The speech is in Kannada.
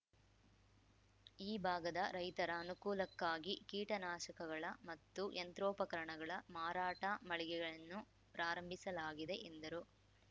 ಈ ಭಾಗದ ರೈತರ ಅನುಕೂಲಕ್ಕಾಗಿ ಕೀಟನಾಶಕಗಳ ಮತ್ತು ಯಂತ್ರೋಪಕರಣಗಳ ಮಾರಾಟ ಮಳಿಗೆಯನ್ನು ಪ್ರಾರಂಭಿಸಲಾಗಿದೆ ಎಂದರು